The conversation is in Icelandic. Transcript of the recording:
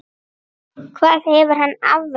Hvað hefur hann afrekað?